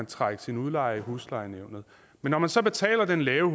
trække sin udlejer i huslejenævnet men når man så betaler den lave